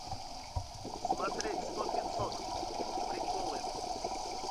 смотреть сто пятьсот приколы